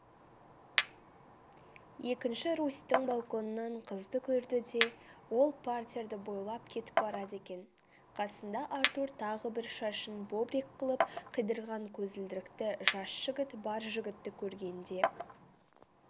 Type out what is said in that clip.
екінші ярустің балконынан қызды көрді де ол партерді бойлап кетіп барады екен қасында артур тағы бір шашын бобрик қылып қидырған көзілдірікті жас жігіт бар жігітті көргенде